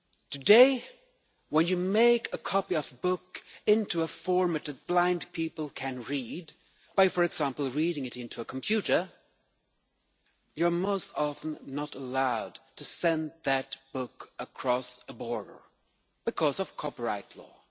Today, when you make a copy of a book into a format that blind people can read by, for example, reading it into a computer, you are not allowed to send that book across a border, because of copyright law.